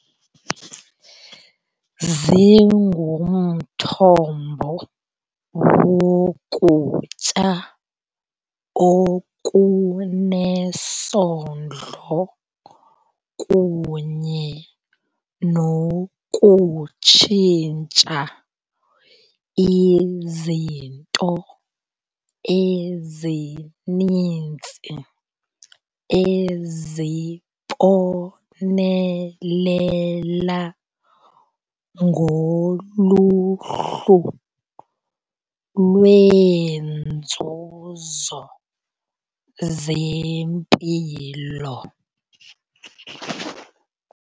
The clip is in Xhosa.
Zingumthombo wokutya okunesondlo kunye nokutshintsha izinto ezinintsi ezibonelela ngoluhlu lweenzuzo zempilo.